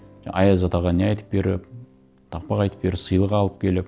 аяз атаға не айтып беріп тақпақ айтып беріп сыйлық алып келіп